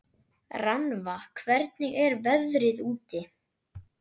Rannva, hvernig er veðrið úti?